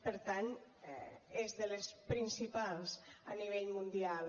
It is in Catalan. per tant és de les principals a nivell mundial